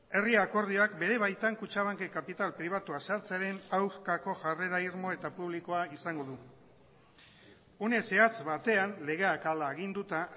herri akordioak bere baitan kutxabankek kapital pribatua sartzearen aurkako jarrera irmo eta publikoa izango du une zehatz batean legeak hala aginduta